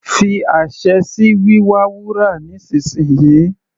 Fi àṣẹ sí wíwa wúrà nísìnsìnyí.